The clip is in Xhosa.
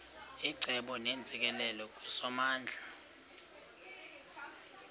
icebo neentsikelelo kusomandla